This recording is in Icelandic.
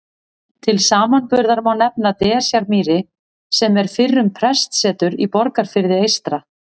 Til samanburðar má nefna Desjarmýri sem er fyrrum prestsetur í Borgarfirði eystra.